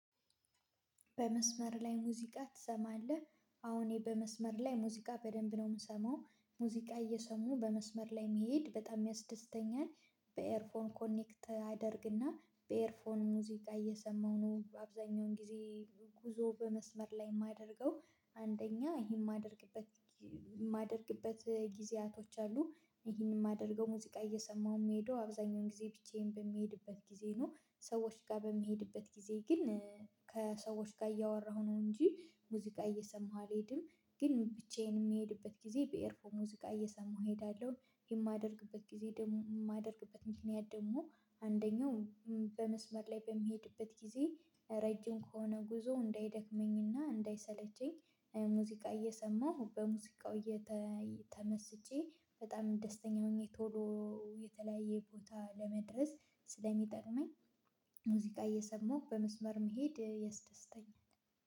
በመስመር ላይ ሙዚቃ ትሰማለህ? አሁን እኔ በመስመር ላይ ሙዚቃ በደንብ ነው የምሰማው፤ ሙዚቃ እየሰሙ በመስመር ላይ መሄድ በጣም ያስደስተኛል። በኤርፎን ኮኔክት አደርግና በኤርፎን ሙዚቃ እየሰማሁ ነው አብዛኛውን ጊዜ ጉዞ በመስመር ላይ የማደርገው። አንደኛ ይሄን የማደርግበት የማደርግበት ጊዜያት አሉ፤ ይሄንን የማደርገው፣ ሙዚቃ እየሰማሁ የምሄደው አብዛኛውን ጊዜ ብቻዬን በምሄድበት ጊዜ ነው። ከሰዎች ጋር በምሄድበት ጊዜ ግን ከሰዎች ጋር እያወራሁ ነው እንጂ ሙዚቃ እየሰማሁ አልሄድም፤ ግን ብቻዬን የምሄድበት ጊዜ በኤርፎን ሙዚቃ እየሰማሁ እሄዳለሁ። የማደርግበት ጊዜ ደግሞ፣ የማደርግበት ምክንያት ደግሞ አንደኛው በመስመር ላይ በምሄድበት ጊዜ፣ ረጅም ከሆነ ጉዞው እንዳይደክመኝና እንዳይሰለቸኝ፣ ሙዚቃ እየሰማሁ፣ በሙዚቃው እየተመሰጥኩ በጣም ደስተኛ ሆኜ ቶሎ የተለያየ ቦታ ለመድረስ ስለሚጠቅመኝ ሙዚቃ እየሰማሁ በመስመር ላይ መሄድ ያስደስተኛል።